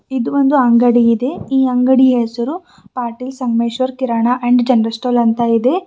ಇದು ಒಂದು ಅಂಗಡಿಯಿದೆ ಈ ಅಂಗಡಿಯ ಹೆಸರು Patil Sangameshwar kirana and general store ಅಂತ ಇದೆ.